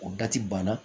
O banna